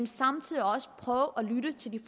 samtidig prøver at lytte til de